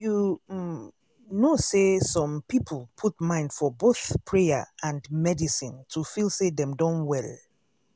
you um know say some people put mind for both prayer and medicine to feel say dem don well.